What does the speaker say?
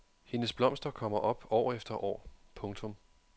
Hendes blomster kommer op år efter år. punktum